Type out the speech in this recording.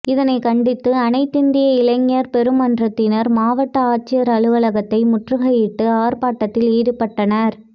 இதனை கண்டித்து அனைத்திந்திய இளைஞர் பெருமன்றத்தினர் மாவட்ட ஆட்சியர் அலுவலகத்தை முற்றுகையிட்டு ஆர்பாட்டத்தில் ஈடுபட்டனர்